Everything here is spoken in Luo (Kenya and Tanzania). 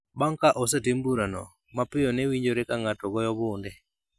Bang’ ka osetim burano, mapiyo ne winjore ka ng’ato goyo bunde .